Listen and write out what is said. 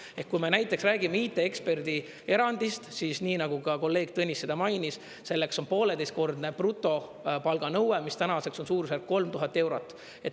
Ehk kui me näiteks räägime IT-eksperdi erandist, siis nii nagu ka kolleeg Tõnis seda mainis, selleks on pooleteistkordne brutopalganõue, mis tänaseks on suurusjärk 3000 eurot.